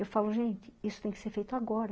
Eu falo, gente, isso tem que ser feito agora.